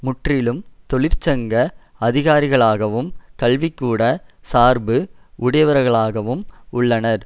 முற்றிலும் தொழிற்சங்க அதிகாரிகளாகவும் கல்விக்கூட சார்பு உடையவர்களாவும் உள்ளனர்